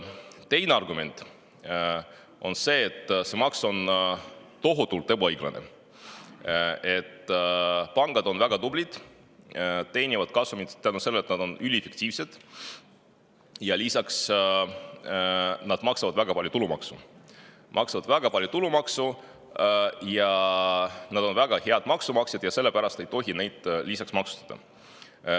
Teine argument on see, et see maks on tohutult ebaõiglane, pangad on väga tublid, teenivad kasumit tänu sellele, et nad on üliefektiivsed, ja lisaks maksavad nad väga palju tulumaksu, nad on väga head maksumaksjad ja sellepärast ei tohi neid veel rohkem maksustada.